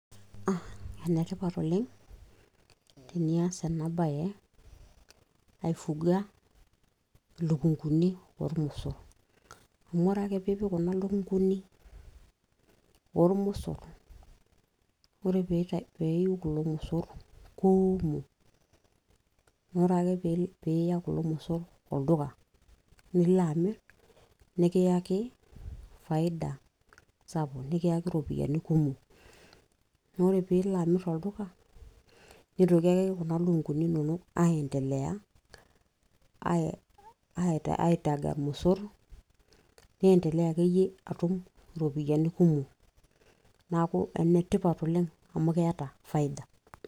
enetipat oleng tenias ena baye aifuga ilukunguni oormosorr amu ore ake piipik kuna lukunguni ormosorr ore peiu kulo mosoorr kuumok naa ore ake piiya kulo mosorr olduka nilo amirr nikiyaki faida sapuk nikiyaki iropiyiani kumok neeku ore piilo amirr olduka nitoki ake kuna lukunguni inonok ae endelea aitaga irmosorr niendelea akeyie atum iropiyiani kumok neeku enetipat oleng amu keeta faida.